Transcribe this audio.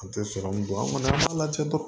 An tɛ sɔrɔmu don an kɔni an b'a lajɛ dɔrɔn